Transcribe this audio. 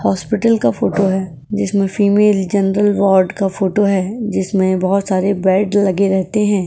Hospital का photo है जिसमें फीमेल जनरल वॉर्ड का फोटो है जिसमें बहुत सारे बेड लगे रहते हैं।